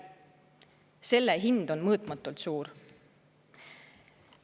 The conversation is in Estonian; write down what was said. Selle hind on mõõtmatult suur.